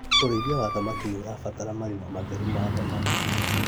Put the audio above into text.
ũrĩithia wa thamaki nĩũrabatara marima matheru ma thamaki